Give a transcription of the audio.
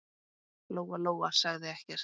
Lóa-Lóa sagði ekkert.